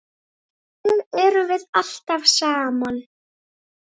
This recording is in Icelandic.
Þannig erum við alltaf saman.